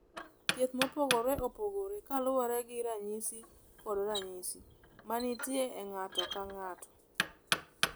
Thieth mopogore opogore kaluwore gi ranyisi kod ranyisi ma nitie e ng’ato ka ng’ato.